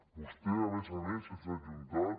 vostè a més a més ens ha ajuntat